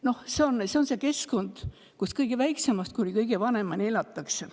Noh, see on see keskkond, kus kõige väiksemast kuni kõige vanemani elatakse.